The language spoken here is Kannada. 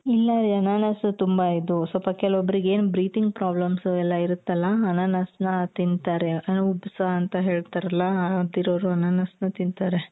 ಇಲ್ಲ ರೀ ಅನಾನಸ್ ತುಂಬಾ ಇದು ಸ್ವಲ್ಪ ಕೆಲವೊಬ್ರಿಗೆ breathing problems ಎಲ್ಲ ಇರುತ್ತಲ ಅನಾನಸ್ ನ ತಿಂತಾರೆ ಅಂದ್ರೆ ಉಬ್ಬಸ ಅಂತ ಹೇಳ್ತಾರಲ್ಲ ಆದಿರೋರು ಅನಾನಸ್ ನ ತಿಂತಾರೆ .